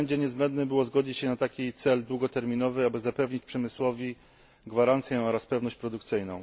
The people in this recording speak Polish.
W tym względzie niezbędne było wyrażenie zgody na taki cel długoterminowy, aby zapewnić przemysłowi gwarancję oraz pewność produkcyjną.